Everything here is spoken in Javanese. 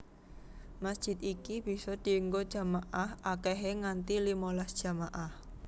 Masjid iki bisa dienggo jamaah akèhé nganti limolas jamaah